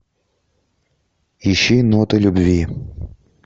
ищи ноты любви